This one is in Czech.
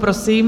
Prosím.